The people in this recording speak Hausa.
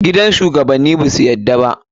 Gidan shugabanni basu yarda ba.